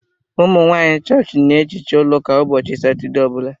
Umunwanyi chọọchị n'ehicha ụlọ ụka ụbọchị satọdee ọbula